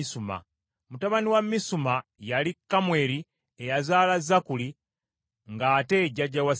Mutabani wa Misuma yali Kammweri, eyazaala Zakkuli, nga ate jjajja wa Simeeyi.